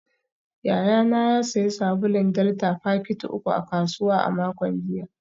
Yayana ya sayi sabulun delta fakiti uku a kasuwa a makon jiya